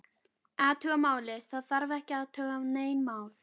Athuga málið, það þarf ekki að athuga nein mál